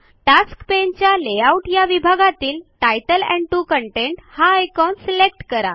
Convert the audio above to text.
task paneच्या layout या विभागातील तितले एंड 2 कंटेंट हा आयकॉन सिलेक्ट करा